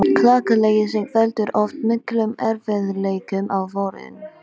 Klakaleysing veldur oft miklum erfiðleikum á vorin.